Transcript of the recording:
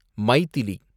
Maithili